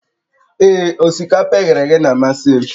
Ee, osikapa e ghere eghe na-amasị m